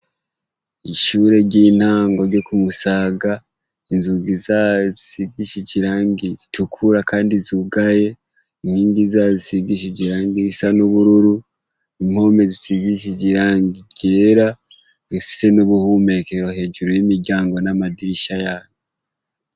Ishure ry'intango ryo ku Musaga, inzugi zayo zisigishije irangi ritukura kandi zugaye. Inkingi zayo zisigishije irangi risa n'ubururu. Impome zisigishije irangi ryera rifise n'ubuhumekero hejuru y'imiryango n'amadirisha yayo.